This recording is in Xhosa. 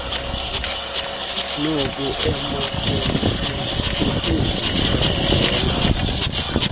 noku emapoliseni kukuzithandela